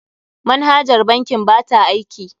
Manhajar bankin ba ta aiki.